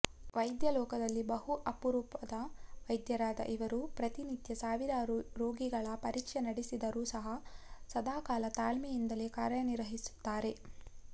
ವೈದ್ಯ ಲೋಕದಲ್ಲಿ ಬಹು ಅಪರೂಪದ ವೈದ್ಯರಾದ ಇವರು ಪ್ರತಿನಿತ್ಯ ಸಾವಿರಾರು ರೋಗಿಗಳ ಪರೀಕ್ಷೆ ನಡೆಸಿದರೂ ಸಹ ಸದಾಕಾಲ ತಾಳ್ಮೆಯಿಂದಲೇ ಕಾರ್ಯನಿರ್ವಹಿಸುತ್ತಾರೆ